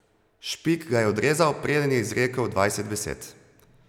Špik ga je odrezal, preden je izrekel dvajset besed.